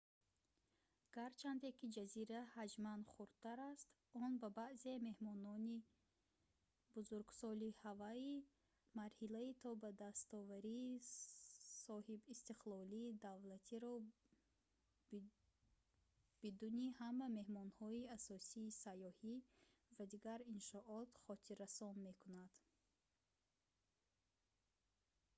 гарчанде ки ҷазира ҳаҷман хурдтар аст он ба баъзе меҳмонони бузургсоли ҳавайӣ марҳилаи то ба дастоварии соҳибистиқлолии давлатиро бидуни ҳама меҳмонхонаҳои асосии сайёҳӣ ва дигар иншоот хотиррасон мекунад